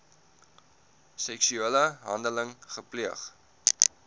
seksuele handeling gepleeg